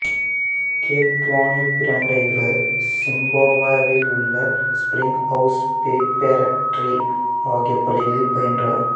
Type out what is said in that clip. gap டவுனில் பிறந்த இவர் சிம்பாப்வேயில் உள்ள ஸ்பிரிங் ஹவுஸ் பிரிபேரட்டரி ஆகிய பள்ளிகளில் பயின்றார்